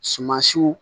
Sumansiw